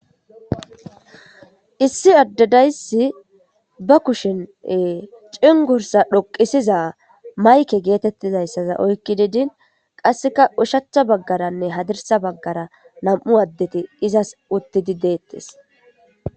Issi addadayssi ba kushin cingursa dhoqisiza mayke geetettizayssaza oykki didin qasseka ushacha baggaranne hadirsa baggara nam'u addeti izas uttidi deettes